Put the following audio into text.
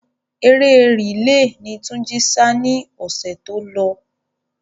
Eré rìle ni Túnjí sá ni ọ̀sẹ̀ tí ó lọ.